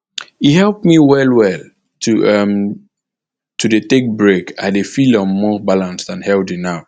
e help me well well to um dey um take break i dey feel um more balanced and healthy now